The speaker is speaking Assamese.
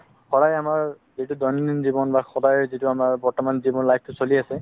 সদায় আমাৰ যিতো দৈনন্দিন জীৱন বা সদায় যিতো আমাৰ বৰ্তমান জীৱন life তো চলি আছে